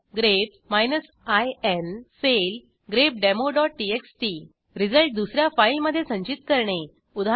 grep in file grepdemoटीएक्सटी result दुस या फाईलमधे संचित करणे उदा